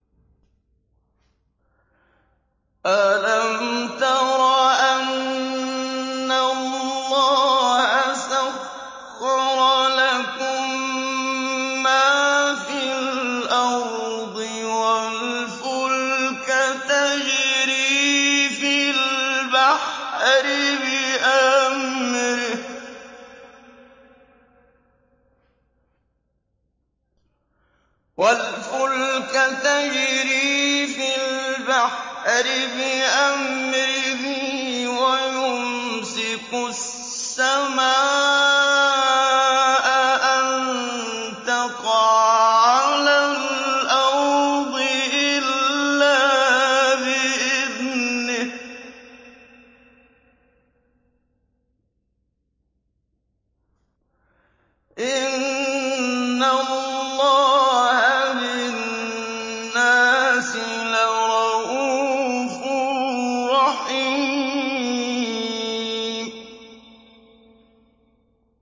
أَلَمْ تَرَ أَنَّ اللَّهَ سَخَّرَ لَكُم مَّا فِي الْأَرْضِ وَالْفُلْكَ تَجْرِي فِي الْبَحْرِ بِأَمْرِهِ وَيُمْسِكُ السَّمَاءَ أَن تَقَعَ عَلَى الْأَرْضِ إِلَّا بِإِذْنِهِ ۗ إِنَّ اللَّهَ بِالنَّاسِ لَرَءُوفٌ رَّحِيمٌ